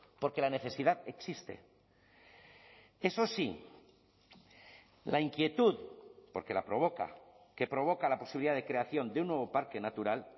porque la necesidad existe eso sí la inquietud porque la provoca que provoca la posibilidad de creación de un nuevo parque natural